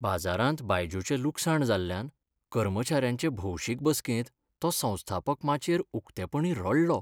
बाजारांत बायजूचें लुकसाण जाल्ल्यान कर्मचाऱ्यांचे भौशीक बसकेंत तो संस्थापक माचयेर उक्तेपणीं रडलो.